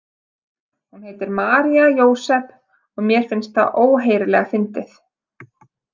Hún heitir María Jósep og mér finnst það óheyrilega fyndið.